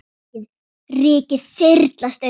Rykið þyrlast upp.